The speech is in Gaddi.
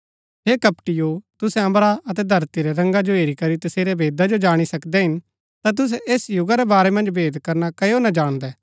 हे कपटिओ तुसै अम्बरा अतै धरती रै रंगा जो हेरी करी तसेरै भेदा जो जाणी सकदै हिन ता तुसै ऐस युगा रै बारै मन्ज भेद करना कजो ना जाणदै